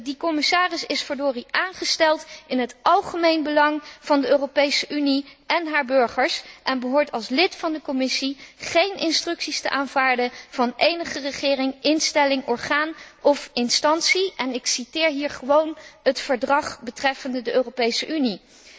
Die commissaris is verdorie aangesteld in het algemeen belang van de Europese Unie en haar burgers en behoort als lid van de Commissie geen instructies te aanvaarden van enige regering, instelling, orgaan of instantie, en ik citeer hier gewoon het Verdrag betreffende de Europese Unie.